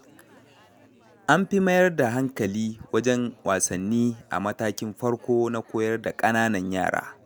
Amfi mayar da hankali wajen wasanni a matakin farko na koyar da kananan yara.